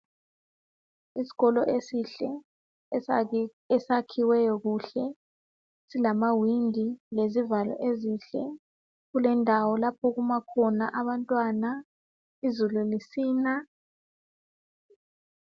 Isikolo esihle, esakhiweyo kuhle, silamawindi lezivalo ezinhle. Kulendawo lapho okuma khona abantwana izulu lisina